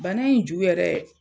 Bana in ju yɛrɛ